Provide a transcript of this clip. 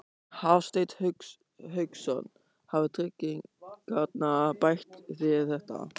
Hafsteinn Hauksson: Hafa tryggingarnar bætt þér þetta?